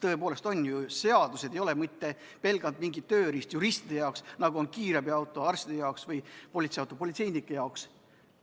Tõepoolest, seadused ei ole ju pelgalt juristide tööriist, nagu on kiirabiauto arstide jaoks või politseiauto politseinike jaoks.